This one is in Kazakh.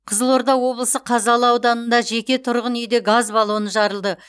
қызылорда облысы қазалы ауданында жеке тұрғын үйде газ баллоны жарылды